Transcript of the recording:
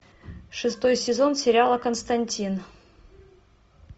шестой сезон сериала константин